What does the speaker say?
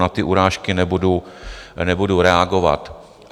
Na ty urážky nebudu reagovat.